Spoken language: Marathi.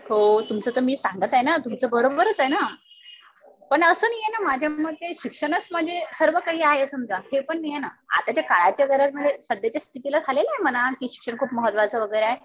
हो तुमचं तर मी सांगत आहे ना. तुमचं तर बरोबरच आहे ना. पण असं नाही ना माझ्या मते शिक्षणच म्हणजे सर्व काही आहे समजा. हे पण नाहीये ना. आताच्या काळाच्या गरज मुळे सध्याच्या स्थितीला झालेले आहे म्हणा कि शिक्षण खूप महत्वाचं वगैरे आहे.